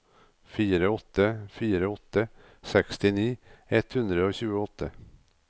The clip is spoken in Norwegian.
fire åtte fire åtte sekstini ett hundre og tjueåtte